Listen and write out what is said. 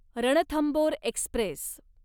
Ranthambore Express